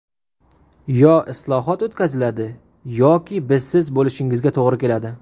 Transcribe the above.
Yo islohot o‘tkaziladi, yoki bizsiz bo‘lishingizga to‘g‘ri keladi.